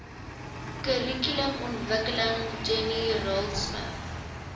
kurrikulumontwikkeling jenny raultsmith